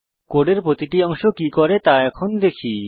কোডের প্রতিটি অংশ কি করে তা এখন দেখি